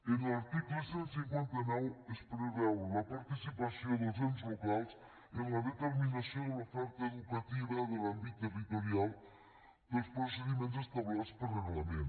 en l’article cent i cinquanta nou es preveu la participació dels ens locals en la determinació de l’oferta educativa de l’àmbit territorial pels procediments establerts per reglament